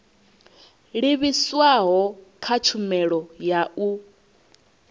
livhiswaho kha tshumelo ya u